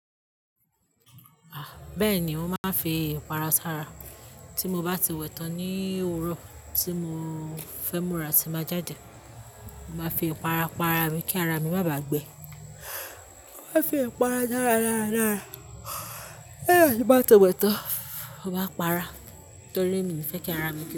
Ah! Bẹ́ẹ̀ ni, ó máa ń fi ìpara sára tí mo bá ti wẹ̀ tán ní òrò tí mo fẹ́ múra tí báa jáde. Mo máa fi ìpara pa ara mi kí ara mi má bàa gbẹ. Ó máa ń fi ìpara dára dára dára ah ti nbá wẹ̀ tán, ó wà para torí mi fẹ́ kí ara mi kio.